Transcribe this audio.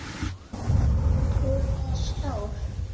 Hún er stór.